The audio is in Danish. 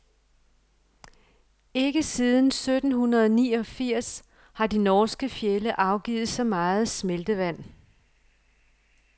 Ikke siden sytten hundrede niogfirs har de norske fjelde afgivet så meget smeltevand.